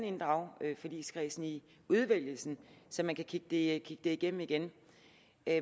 inddrage forligskredsen i udvælgelsen så vi kan kigge det igennem igen